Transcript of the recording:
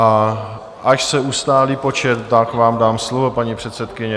A až se ustálí počet, tak vám dám slovo, paní předsedkyně.